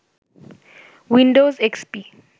Windows XP